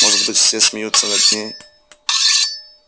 может быть все смеются над ней